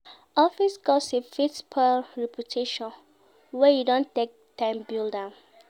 Office gossip fit spoil reputation wey you don take time build.